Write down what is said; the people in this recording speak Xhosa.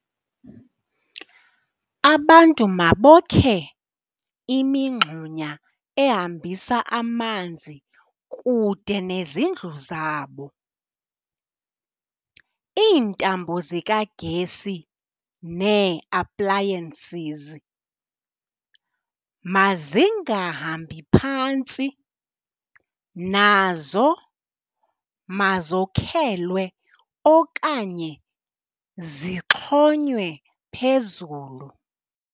Abantu mabokhe imingxunya ehambisa amanzi kude nezindlu zabo. Iintambo zikagesi nee-appliances mazingahambi phantsi, nazo mazokhelwe okanye zixhonywe phezulu.